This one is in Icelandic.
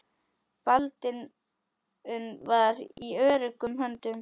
Baldvin var í öruggum höndum.